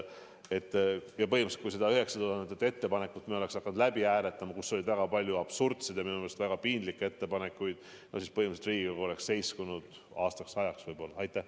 Kui me oleks neid 9000 ettepanekut hakanud läbi hääletama, kuigi nende hulgas oli väga palju absurdseid ja minu meelest ka piinlikke ettepanekuid, siis põhimõtteliselt Riigikogu töö oleks aastaks ajaks võib-olla seiskunud.